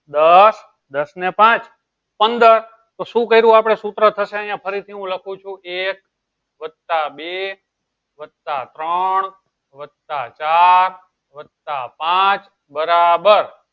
દસ દસ ને પાંચ પંદર તો શું કર્યું આપળે સુત્ર થશે આયીયા છે ફરી થી હું લખું છું એક વત્તા બે વત્તા ત્રણ વત્તા ચાર વત્તા પાંચ બરાબર